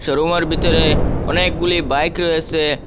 রুমের ভিতরে অনেকগুলি বাইক রয়েসে।